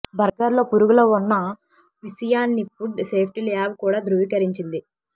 బర్గర్లో పురుగుల ఉన్న విషయాన్ని ఫుడ్ సేఫ్టీ ల్యాబ్ కూడా ధ్రువీకరించింది